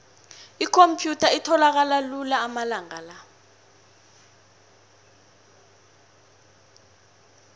ikhomphyutha itholakala lula amalanga la